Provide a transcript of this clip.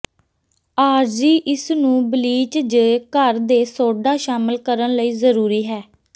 ਆਰਜ਼ੀ ਇਸ ਨੂੰ ਬਲੀਚ ਜ ਘਰ ਦੇ ਸੋਡਾ ਸ਼ਾਮਿਲ ਕਰਨ ਲਈ ਜ਼ਰੂਰੀ ਹੈ